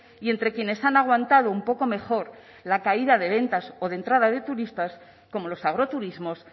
y entre quienes han aguantado un poco mejor la caída de ventas o de entrada de turistas como los agroturismos